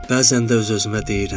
Bəzən də öz-özümə deyirəm.